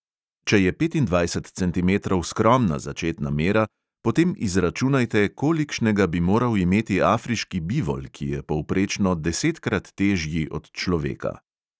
Če je petindvajset centimetrov skromna začetna mera, potem izračunajte, kolikšnega bi moral imeti afriški bivol, ki je povprečno desetkrat težji od človeka.